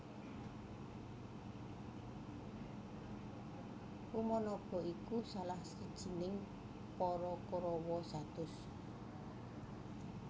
Urnanaba iku salah sijining para Korawa satus